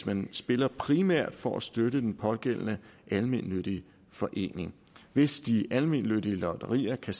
man spiller primært for at støtte den pågældende almennyttige forening hvis de almennyttige lotterier kan